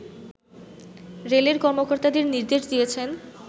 রেলের কর্মকর্তাদের নির্দেশ দিয়েছেন